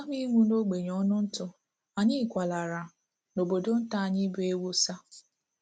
Kama ịnwụ n’ogbenye ọnụ ntụ, anyị kwalara n’obodo nta anyị bụ́ Ewossa